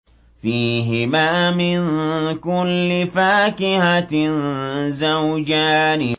فِيهِمَا مِن كُلِّ فَاكِهَةٍ زَوْجَانِ